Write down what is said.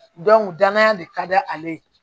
danaya de ka d' ale ye